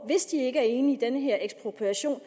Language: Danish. hvis de ikke er enige i den her ekspropriation